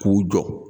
K'u jɔ